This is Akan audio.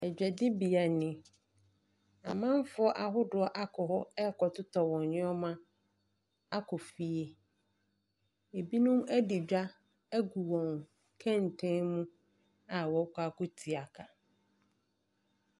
Dwadibea nie. Amanfoɔ ahodoɔ akɔ kɔ rekɔtotɔ wɔn nneɛma akɔ fie. Binom adi dwa agu wɔn kɛntɛn mu a wɔrekɔ akɔtua ka.